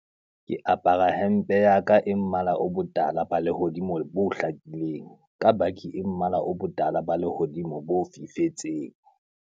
Ke apara hempe ya ka e mmala o botala ba lehodimo bo hlakileng ka baki e mmala o botala ba lehodimo bo fifetseng.